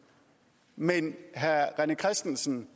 men herre rené christensen